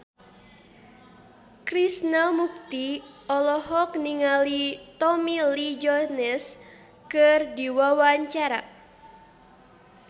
Krishna Mukti olohok ningali Tommy Lee Jones keur diwawancara